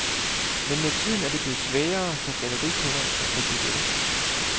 Men med tiden er det blevet sværere for gallerikunderne at få billetter.